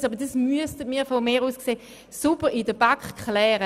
Darüber müsste aber in der Kommission sauber diskutiert werden.